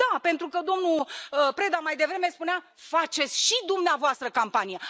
Da, pentru că domnul Preda mai devreme spunea faceți și dumneavoastră campanie.